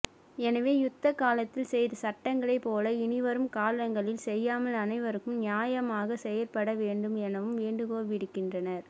எனவே யுத்த காலத்தில் செய்த சட்டங்களை போல இனிவரும் காலங்களில் செய்யாமல் அனைவருக்கும் நியாயமாக செயற்பட வேண்டும் எனவும்வேண்டுகோள் விடுக்கின்றனர்